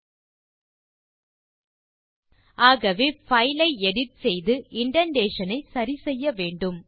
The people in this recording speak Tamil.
ஆகவே பைல் ஐ எடிட் செய்து இண்டென்டேஷன் ஐ சரி செய்ய வேண்டும்